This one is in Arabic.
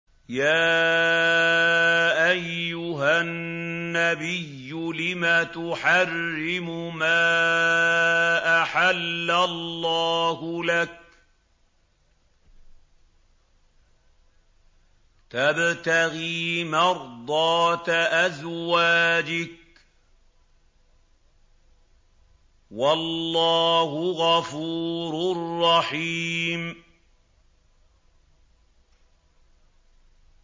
يَا أَيُّهَا النَّبِيُّ لِمَ تُحَرِّمُ مَا أَحَلَّ اللَّهُ لَكَ ۖ تَبْتَغِي مَرْضَاتَ أَزْوَاجِكَ ۚ وَاللَّهُ غَفُورٌ رَّحِيمٌ